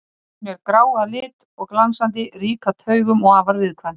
Hún er grá að lit og glansandi, rík af taugum og afar viðkvæm.